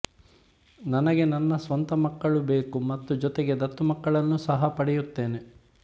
ನನಗೆ ನನ್ನ ಸ್ವಂತ ಮಕ್ಕಳು ಬೇಕು ಮತ್ತು ಜೊತೆಗೆ ದತ್ತು ಮಕ್ಕಳನ್ನೂ ಸಹ ಪಡೆಯುತ್ತೇನೆ